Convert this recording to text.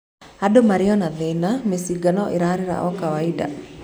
Andũ marĩo na thĩna, Mĩcinga no ĩrarĩra o kawaida.